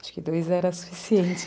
Acho que dois era suficiente